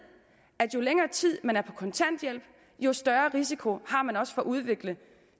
at jo længere tid man er på kontanthjælp jo større risiko har man også for at udvikle